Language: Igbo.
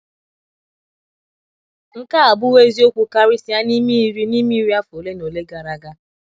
Nke a abụwo eziokwu karịsịa n’ime iri n’ime iri afọ ole na ole gara aga.